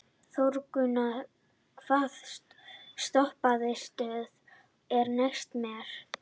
Þórgunnur, hvaða stoppistöð er næst mér?